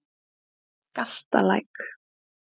Galtalæk